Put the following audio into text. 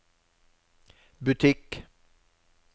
butikk